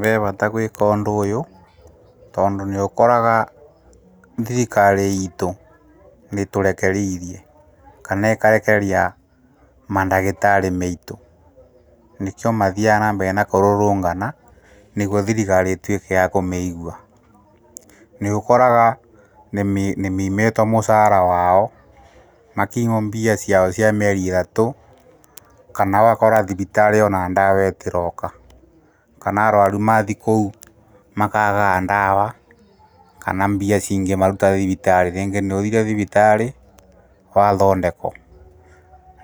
Ve vata gwĩka ũndũ ũyũ, tondũ nĩũkoraga thirikari iitũ nĩtũrekerĩrie, kana ĩkarekereria mandagĩtarĩ meitũ, nĩkĩo mathiaga na mbere na kũrũrũngana, nĩguo thirikari ĩtuĩke ya kũmeigua, nĩũkoraga nĩmeimĩtwo mũcaara wao, makimwo mbia ciao cia mĩeri ĩtatũ kana ũgakora thibitari ona ndawa ĩtĩroka kana arwaru mathi kũu makaagaga ndawa kana mbia cingĩmaruta thibitarĩ rĩngĩ nĩũthire thibitarĩ wathondeko